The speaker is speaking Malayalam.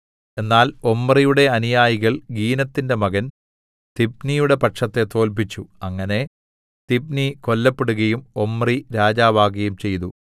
എന്നാൽ ഒമ്രിയുടെ അനുയായികൾ ഗീനത്തിന്റെ മകൻ തിബ്നിയുടെ പക്ഷത്തെ തോല്പിച്ചു അങ്ങനെ തിബ്നി കൊല്ലപ്പെടുകയും ഒമ്രി രാജാവാകയും ചെയ്തു